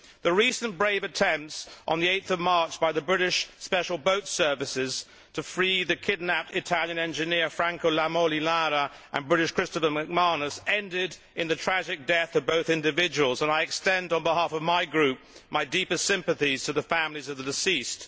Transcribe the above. The recent brave attempts on 8 March by the British Special Boat Service to free the kidnapped Italian engineer Franco Lamolinara and British Christopher McManus ended in the tragic death of both individuals and I extend on behalf of my group my deepest sympathies to the families of the deceased.